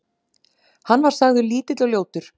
Hann var sagður lítill og ljótur.